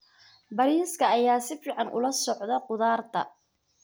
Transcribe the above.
Bariiska ayaa si fiican ula socda khudaarta.